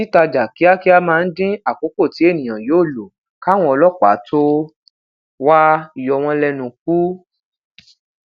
titajà kíákíá maa n din akoko ti eniyan yoo lo káwọn ọlópàá to wa yowon lenu ku